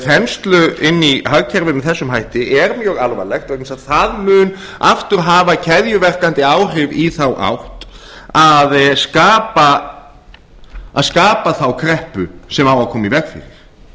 þenslu inni í hagkerfinu með þessum hætti er mjög alvarlegt vegna þess að það mun aftur hafa keðjuverkandi áhrif í þá átt að skapa einfaldlega þá kreppu sem á